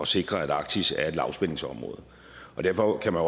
sikre at arktis er et lavspændingsområde derfor kan man